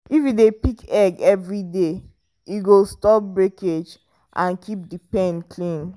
if you dey pick egg every day e go stop breakage and keep the pen clean.